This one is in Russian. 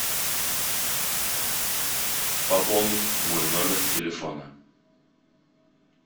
пополнить мой номер телефона